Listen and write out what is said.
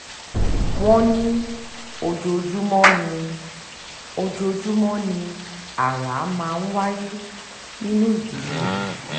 wọ́n ní ojoojúmọ́ ni ojoojúmọ́ ni ara máa ń wáyé nínú ìdílé rẹ̀